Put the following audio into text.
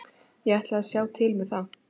Ég ætla að sjá til með það.